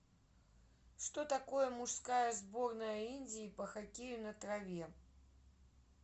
что такое мужская сборная индии по хоккею на траве